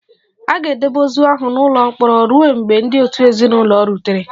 A ga-edebe ozu ahụ n'ụlọ mkpọrọ ruo mgbe ndị òtù ezinụlọ rutere